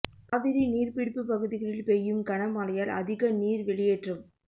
காவிரி நீர்பிடிப்பு பகுதிகளில் பெய்யும் கன மழையால் அதிக நீர் வெளியேற்றம்